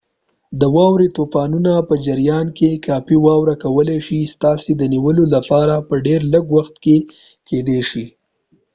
د واورې طوفانونو په جریان کې کافي واوره کولی شي ستاسي د نیولو لپاره په ډیر لږ وخت کې کیدی شي